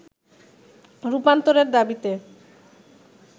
রূপান্তরের দাবিতে